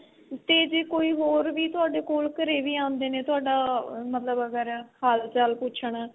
ਤੇ ਜੇ ਕੋਈ ਹੋਰ ਵੀ ਤੁਹਾਡੇ ਕੋਲ ਘਰੇ ਵੀ ਆਂਦੇ ਨੇ ਤੁਹਾਡਾ ਮਤਲਬ ਅਗਰ ਹਾਲ ਚਾਲ ਪੁੱਛਣ